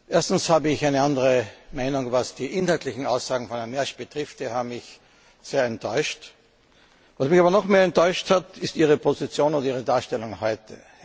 Erstens habe ich eine andere Meinung, was die inhaltlichen Aussagen von Herrn Mersch betrifft, die haben mich sehr enttäuscht. Was mich aber noch mehr enttäuscht hat, ist Ihre Position und Ihre Darstellung heute.